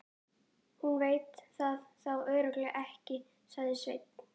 Hún veit það þá örugglega ekki, sagði Svenni.